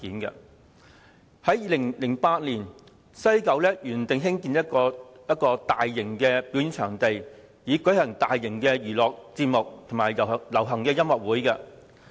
早在2008年，西九文化區原定計劃興建一個大型表演場地，以舉行大型娛樂節目及流行音樂會。